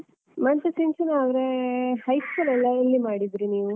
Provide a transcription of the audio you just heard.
ಮತ್ತೆ ಸಿಂಚನಾ ಅವರೇ high school ಎಲ್ಲ ಎಲ್ಲಿ ಮಾಡಿದ್ರಿ ನೀವು?